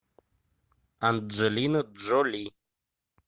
анджелина джоли